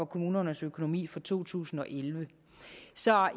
kommunernes økonomi for to tusind og elleve